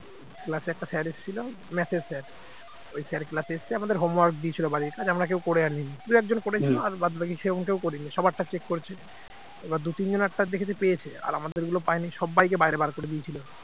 class একটা sir এসেছিল math sir ওই sir class এসছে আমাদের home work দিয়েছিল বাড়ির কাজ আমরা কেউ করে আনিনি দুই একজন করেছিল আর বাদবাকি সেরাম কেউ করেনি সবারটা check করছে, এবার দু তিনজনের টা দেখেছে পেয়েছে আর আমাদের গুলো পায়নি সবাইকে বাইরে বার করে দিয়েছিল।